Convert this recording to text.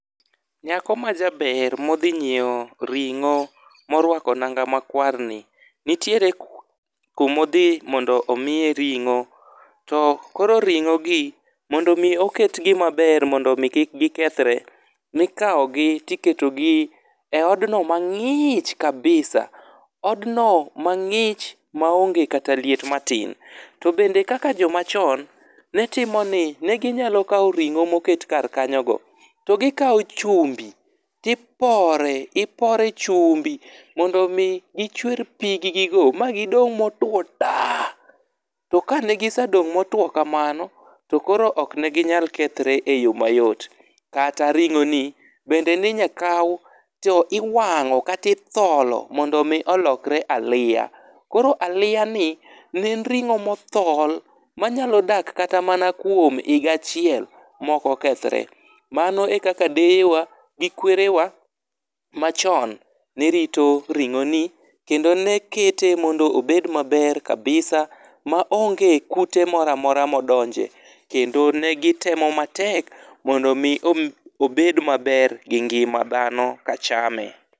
Nyako majaber modhi nyiewo ring'o morwako nanga makwarni. Nitiere kuma odhi mondo omiye ring'o. To koro ring'ogi, mondo mi oketgi maber mondo mi kik gikethre, ne ikawogi to iketogi e odno mang'ich kabisa. Odno mang'ich ma onge kata liet matin. To bende kaka joma chon, ne timo ni, ne ginya kawo ring'o moket kar kanyogo, to gikawo chumbi to ipore, ipore chumbi mondo mi gichwer piggigo ma gidong' motwo ta. To kane gisedong' motwo kamano, to koro ok ne ginyal kethre e yo mayot. Kata ring'oni, bende ne inyal kaw, to iwang'o kata itholo mondo mi olokre aliya. Koro aliyani, ne en ring'o mothol ma nyalo dak kata mana kuom higa achiel ma ok okethore. Mano e kaka deyewa, gi kwerewa machon nerito ring'oni, kendo ne kete mondo obed maber kabisa, ma onge kute moro amora modonje kendo ne gitemo matek mondo mi obed maber gi ngima dhano ka chame.